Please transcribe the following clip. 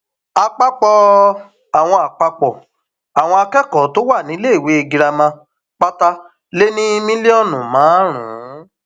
àpapọ àwọn àpapọ àwọn akẹkọọ tó wà níléèwé girama pátá lé ní mílíọnù márùnún